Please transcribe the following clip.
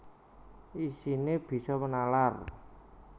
Isine bisa nalar